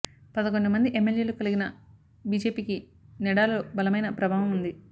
పదకొండు మంది ఎమ్మెల్యేలు కలిగిన బిజెపికి నెడాలో బలమైన ప్రభావం ఉంది